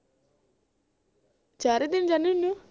ਚਾਰੇ ਦਿਨ ਜਾਣੇ ਹੁੰਦੇ ਊ